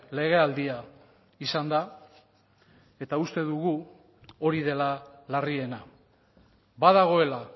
legealdia izan da eta uste dugu hori dela larriena badagoela